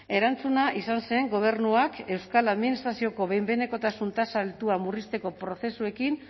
erantzuna izan zen gobernuak euskal administrazioko behin behinekotasun tasa altua murrizteko prozesuekin